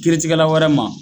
Kiiritigɛla wɛrɛ ma